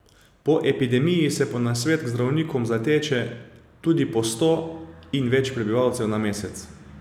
Po epidemiji se po nasvet k zdravnikom zateče tudi po sto in več prebivalcev na mesec.